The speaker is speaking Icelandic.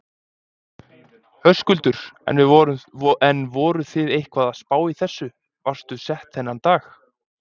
Höskuldur: En voruð þið eitthvað að spá í þessu, varstu sett þennan dag?